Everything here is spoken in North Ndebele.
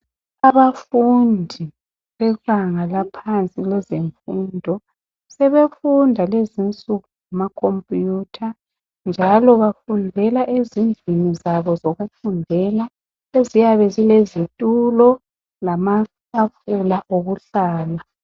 Abafundi bebanga laphansi kwezemfundo sebefunda lezinsuku ngamakhompiyutha njalo bafundela ezindlini zabo zokufundela eziyabe zilezitulo lamatafula okuhlala.